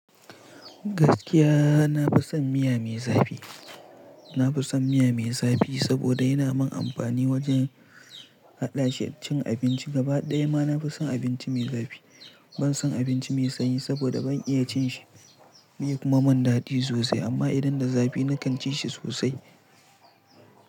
Gaskiya, na fi son miya me zafi. Na fi son miya me zafi saboda yana mun amfani wajen haɗashi cin abinci. Gaba ɗaya ma na fi son abinci me zafi. Ban son abinci me sanyi saboda ban iya cin shi. Be kuma min daɗi sosai amma idan da zafi na kan ci shi sosai.